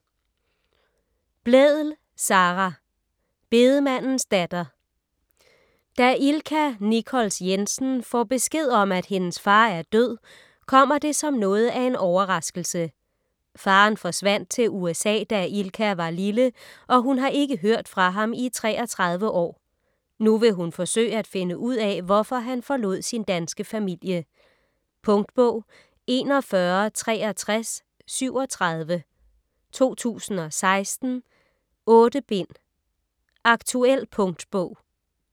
Blædel, Sara: Bedemandens datter Da Ilka Nichols Jensen får besked om, at hendes far er død, kommer det som noget af en overraskelse. Faderen forsvandt til USA, da Ilka var lille og hun har ikke hørt fra ham i 33 år. Nu vil hun forsøge at finde ud af, hvorfor han forlod sin danske familie. Punktbog 416337 2016. 8 bind. Aktuel punktbog